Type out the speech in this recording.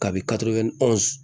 Kabi